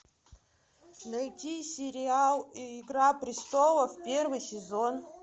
найти сериал игра престолов первый сезон